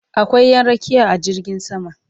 Akwai Ƴan rakiya a jirgin sama